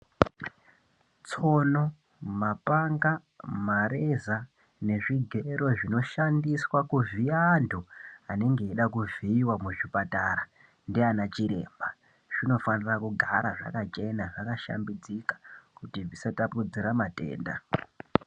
Tsono, mapanga, mareza nezvigero zvinoshandiswa kuvhiya antu anenge eida kuvhiiwa muzvipatara ndiana chiremba, zvinofanira kugara zvakachena zvakashambidzika kuti zvisatapudzira matenda.